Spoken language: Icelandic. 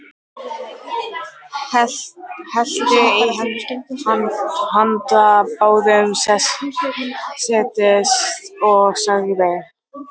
Hellti í handa báðum, settist og sagði: